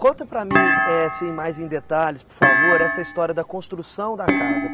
Conta para mim, eh, assim mais em detalhes, por favor, essa história da construção da casa.